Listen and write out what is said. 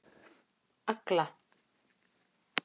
Agla